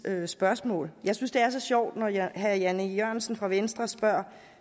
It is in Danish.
spørgsmål jeg synes det er så sjovt når herre jan e jørgensen fra venstre spørger herre